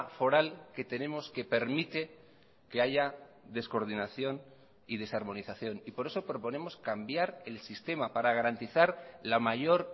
foral que tenemos que permite que haya descoordinación y desarmonización y por eso proponemos cambiar el sistema para garantizar la mayor